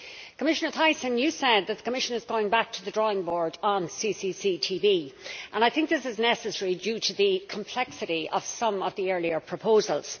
Commissioner Thyssen, you said that the Commission is going back to the drawing board on CCCTB, and I think this is necessary due to the complexity of some of the earlier proposals.